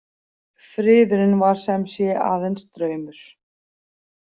Friðurinn var sem sé aðeins draumur.